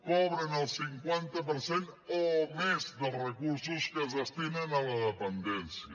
cobren el cinquanta per cent o més dels recursos que es destinen a la dependència